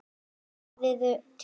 Værirðu til í það?